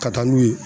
Ka taa n'u ye